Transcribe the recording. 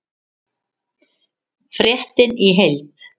Fréttin í heild